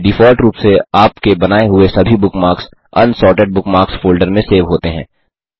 default रूप से आपके बनाए हुए सभी बुकमार्क्स अनसॉर्टेड बुकमार्क्स फ़ोल्डर में सेव होते हैं